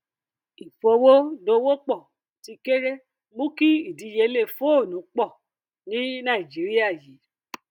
ìfowó dòwòpọ tí kéré mú kí ìdíyelé fóònù pọ ní nàìjíríà yìí